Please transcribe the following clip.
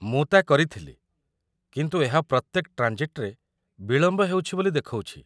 ମୁଁ ତା' କରିଥିଲି, କିନ୍ତୁ ଏହା ପ୍ରତ୍ୟେକ ଟ୍ରାଞ୍ଜିଟ୍‌ରେ ବିଳମ୍ବ ହେଉଛି ବୋଲି ଦେଖଉଛି